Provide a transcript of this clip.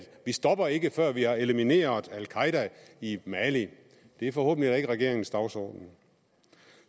vi stopper ikke før vi har elimineret al qaeda i mali det er forhåbentlig ikke regeringens dagsorden